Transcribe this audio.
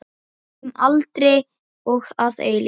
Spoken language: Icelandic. Um aldir og að eilífu.